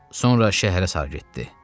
Sonra şəhərə sarı getdi.